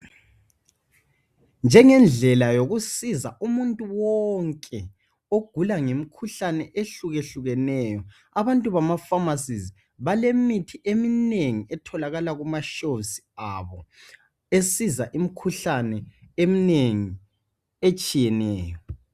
Njengendlela yokusiza umuntu wonke ogula ngemikhuhlane ehluke hlukeneyo abantu bama pharmacies balemithi eminengi etholakala kuma shows abo esiza imikhuhlane eminengi etshiyeneyo.